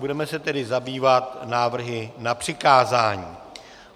Budeme se tedy zabývat návrhy na přikázání.